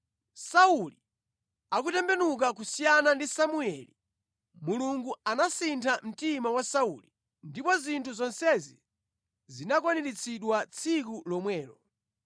Sauli akutembenuka kusiyana ndi Samueli, Mulungu anasintha mtima wa Sauli, ndipo zinthu zonsezi zinakwaniritsidwa tsiku lomwelo.